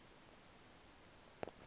ukuze ube nako